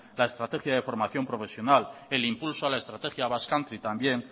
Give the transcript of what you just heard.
la estrategia de formación profesional el impulso a la estrategia basque country también